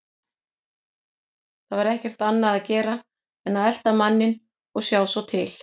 Það var ekkert annað að gera en að elta manninn og sjá svo til.